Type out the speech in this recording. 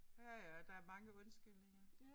Ja ja og der mange undskyldninger